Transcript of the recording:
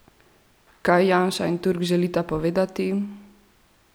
Kaj Janša in Turk želita povedati?